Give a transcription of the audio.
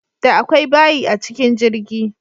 Da akwai bayi a cikin jirgi.